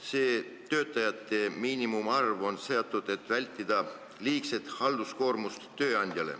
See töötajate miinimumarv on seatud selleks, et vältida tööandjate liigset halduskoormust.